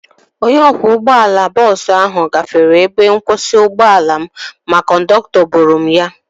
Onye ọkwọ ụgbọala bọọsu ahu gafere ebe nkwụsị ụgbọala m ma kọndọktọ boro m ya